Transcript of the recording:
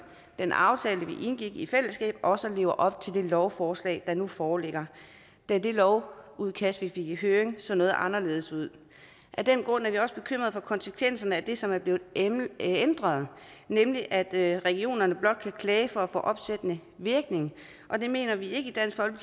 den aftale vi indgik i fællesskab også lever op til det lovforslag der nu foreligger da det lovudkast vi fik i høring så noget anderledes ud af den grund er vi også bekymret for konsekvenserne af det som er blevet ændret ændret nemlig at regionerne blot kan klage for at få opsættende virkning det mener vi ikke